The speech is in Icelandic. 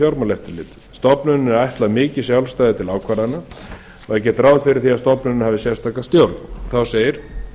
stofnuninni er ætlað mikið jálfsætði til ákvarðana og er gert ráð fyrir því að stofnunin hafi sérstaka stjórn þá segir